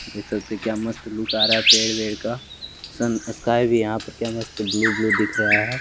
देख सकते हैं क्या मस्त लुक आ रहा है पेड़ वेड़ का सन स्काई भी यहां पर क्या मस्त ब्लू ब्लू दिख रहा है।